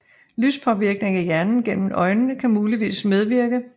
Lyspåvirkning af hjernen gennem øjnene kan muligvis medvirke